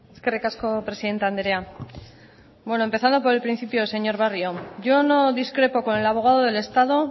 eskerrik asko presidente andrea bueno empezando por el principio señor barrio yo no discrepo con el abogado del estado